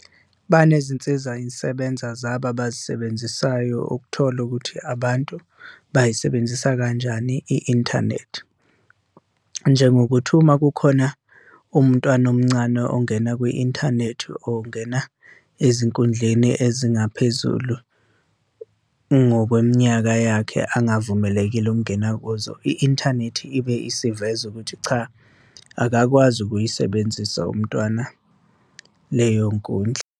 Banezinsiza yisebenza zabo abazisebenzisayo ukuthola ukuthi abantu bayisebenzisa kanjani i-inthanethi, njengokuthi uma kukhona umntwana omncane ongena kwi-inthanethi, ongena ezinkundleni ezingaphezulu ngokweminyaka yakhe angavumelekile ukungena kuzo. I-inthanethi ibe isiveza ukuthi cha, akakwazi ukuyisebenzisa umntwana leyo nkundla.